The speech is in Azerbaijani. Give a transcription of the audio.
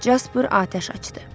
Jaspr atəş açdı.